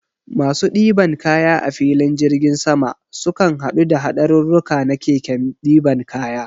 Masu ɗiban kaya a filin jirgin sama, sukan haɗu da haɗarurruka na keken ɗiban kaya.